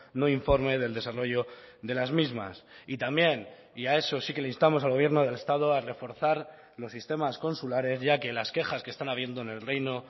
no informe del desarrollo de las mismas y también y a eso sí que le instamos al gobierno del estado a reforzar los sistemas consulares ya que las quejas que están habiendo en el reino